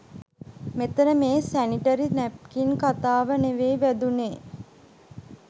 මෙතන මේ sanitary napkin කතාව නෙවෙයි වැදුනෙ